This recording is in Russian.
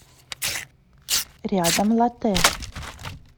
рядом лотте